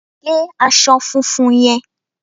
gé aṣọ funfun yẹn